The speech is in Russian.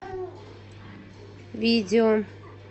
видео